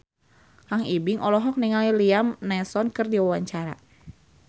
Kang Ibing olohok ningali Liam Neeson keur diwawancara